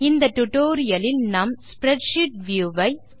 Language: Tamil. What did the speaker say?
இந்த டியூட்டோரியல் இல் நாம் ஸ்ப்ரெட்ஷீட் வியூ ஐ